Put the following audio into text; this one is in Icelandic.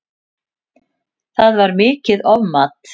Það var mikið ofmat